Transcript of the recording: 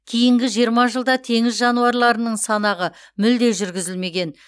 кейінгі жиырма жылда теңіз жануарларының санағы мүлде жүргізілмеген